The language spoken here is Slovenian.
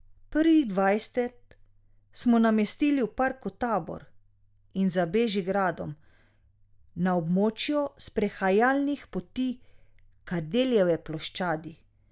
Prvih dvajset smo namestili v Parku Tabor in za Bežigradom na območju sprehajalnih poti Kardeljeve ploščadi.